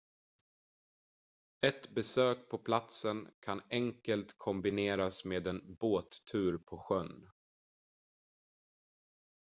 ett besök på platsen kan enkelt kombineras med en båttur på sjön